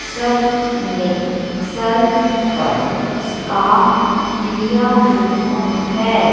सब ने सर पर स्कार्फ लिया हुआ है।